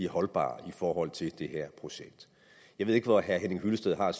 holdbare i forhold til det her projekt jeg ved ikke hvor herre henning hyllested har